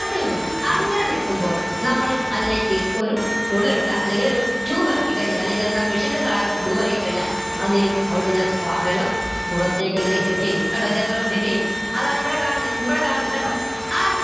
അങ്ങനെ നിൽക്കുമ്പോൾ നമ്മൾ അതിലേക്ക് ഒരു കുഴൽ ഇട്ടാൽ അല്ലെങ്കിൽ ഒരു tube ഇറക്കി കഴിഞ്ഞാൽ അല്ലെങ്കിൽ എന്താ machine ന്റെ സഹായത്തോടെ tube ഇറക്കി കഴിഞ്ഞാൽ അതെന്തെയും അവിടെന്ന് ഇങ്ങനെ വെള്ളം പുറത്തേക്ക് ഇങ്ങനെ eject എയും കണ്ടോ ഇതേപോലെ eject എയും അതാണ് ഇവിടെ കാണുന്നെ ഇവിടെ കാണുന്നെ കണ്ടോ